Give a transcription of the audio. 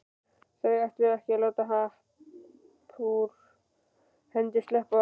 Þau ætluðu ekki að láta happ úr hendi sleppa.